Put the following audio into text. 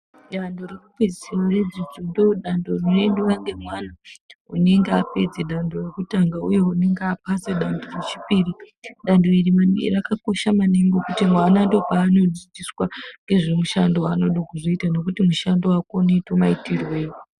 Danto rekupedzisira redzidzo ndoodando rinoendwa ngemwana unenge apedza danto rekutanga uye unenge apasa danto rechipiri. Danto iri rakakosha maningi ngekuti mwana ndoopaanodzidziswa ngezvemushando waanoda kuzoita nekuti mushando wake unoita maitirwei.